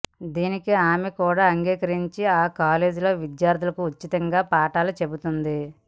దీనికి ఆమె కూడా అంగీకరించి ఆ కాలేజీలో విద్యార్థులకు ఉచితంగా పాఠాలు చెబుతోంది